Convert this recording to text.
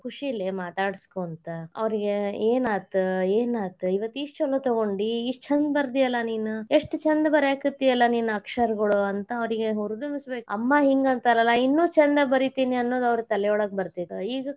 ಕುಶಿಲೇ ಮಾತಾಡಸ್ಕೊಂತ ಅವ್ರಿಗೆ ಏನಾತ್ ಏನಾತ್ ಇವತ್ ಇಷ್ಟ್ ಚೊಲೊ ತೊಗೊಂಡಿ ಇಷ್ಟ್ ಚಂದ ಬರದಿಯಲ್ಲಾ ನೀನ್ ಎಷ್ಟ್ ಚಂದ ಬರ್ಯಾಕತಿಯಲ್ಲಾ ನೀನ್ ಅಕ್ಷರ ಗೋಳು ಅಂತ ಅವ್ರಿಗೆ ಹುರದುಂಬಿಸಬೇಕ್ ಅಮ್ಮಾ ಹಿಂಗ ಅಂತಾರಲ್ಲಾ ಇನ್ನು ಚಂದ ಬರೀತೇನಿ ಅನ್ನೋದ್ ಅವ್ರ ತಲಿಯೊಳಗ್ ಬರ್ತೇತಿ ಈಗ.